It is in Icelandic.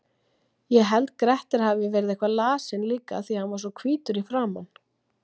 Ég held Grettir hafi verið eitthvað lasinn líka því hann var svo hvítur í framan.